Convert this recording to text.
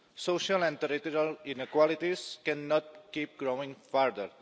Social and regional inequalities cannot keep growing further.